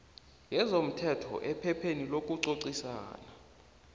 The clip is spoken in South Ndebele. yezomthetho ephepheni lokucocisana